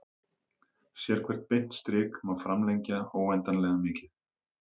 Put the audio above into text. Sérhvert beint strik má framlengja óendanlega mikið.